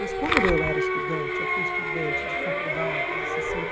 Mas quando eu era estudante, eu fui estudante de faculdade de sessenta e